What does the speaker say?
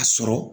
A sɔrɔ